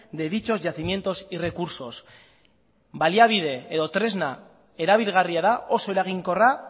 de dichos yacimientos y recursos baliabide edo tresna erabilgarria da oso eraginkorra